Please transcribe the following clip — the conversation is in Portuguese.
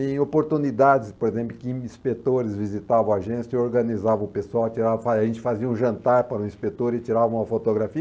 Em oportunidades, por exemplo, que inspetores visitavam a agência, eu organizava o pessoal, tirava a gente fazia um jantar para o inspetor e tirava uma fotografia.